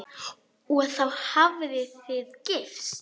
Og þá hafið þið gifst?